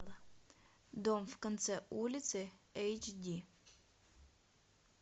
дом в конце улицы эйч ди